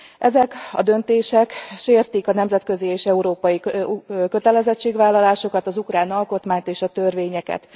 Ezek a döntések sértik a nemzetközi és európai kötelezettségvállalásokat, az ukrán alkotmányt és a törvényeket.